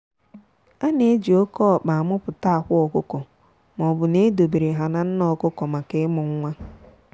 a na-eji oke ọkpa a muputa akwa ọkụkọ maobu na edo bere ha na nne ọkụkọ maka ịmu nwa.